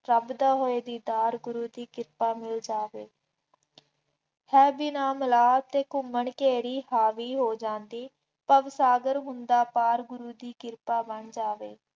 ਰੱਬ ਦਾ ਹੋਏ ਦੀਦਾਰ, ਗੁਰੂ ਦੀ ਕਿਰਪਾ ਹੋ ਜਾਵੇ, ਹਾਂ ਵੀ ਨਾਲ ਮਿਲਾ ਅਤੇ ਘੁੰਮਣ ਘੇਰੀ ਹਾਵੀ ਹੋ ਜਾਂਦੀ, ਭਵਸਾਗਰ ਹੁੰਦਾ ਪਾਰ ਗੁਰੂ ਦੀ ਕਿਰਪਾ ਬਣ ਜਾਵੇ।